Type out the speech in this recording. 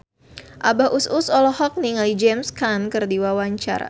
Abah Us Us olohok ningali James Caan keur diwawancara